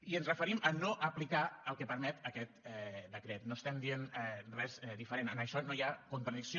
i ens referim a no aplicar el que permet aquest decret no estem dient res diferent en això no hi ha contradicció